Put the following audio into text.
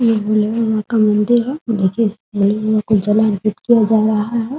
ये भोले बाबा का मंदिर है । देखिये इसमे कुछ जल अर्पित किया जा रहा है ।